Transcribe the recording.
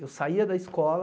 Eu saía da escola,